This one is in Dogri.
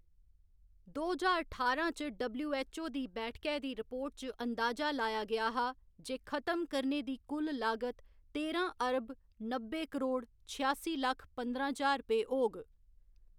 दो ज्हार ठारां च डब्ल्यू.ऐच्च.ओ. दी बैठकै दी रिपोर्ट च अंदाजा लाया गेआ हा जे खतम करने दी कुल लागत तेरां अरब नब्बे करोड़ छेआसी लक्ख पंदरां ज्हार रपेऽ होग।